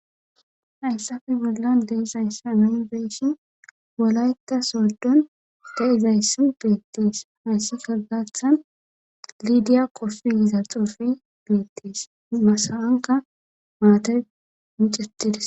Hayssafe bolla deizayssa miy beeshin wolayta soldun da izayssi beettiis hayssi solgathan lidiya qosu yizal xuufe beettiis masawanka maate micetides.